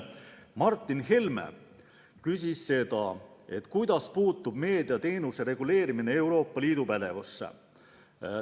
Martin Helme küsis, kuidas puutub meediateenuste reguleerimine Euroopa Liidu pädevusse.